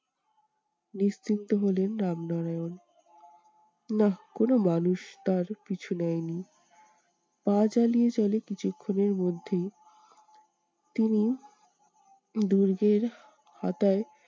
নিশ্চিন্ত হলেন রামনারায়ণ। নাহ কোনো মানুষ তার পিছু নেয়নি। পা চালিয়ে চলে কিছুক্ষনের মধ্যেই তিনি দুর্গের খাতায়